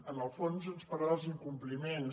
en el fons ens parla dels incompliments